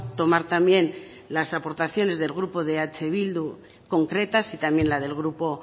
tomar también las aportaciones del grupo de eh bildu concretas y también la del grupo